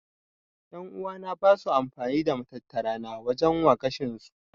En'uwa na basu amfani da matattara na waje wa gashin su.